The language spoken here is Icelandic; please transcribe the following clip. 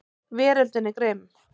Veröldin er grimm.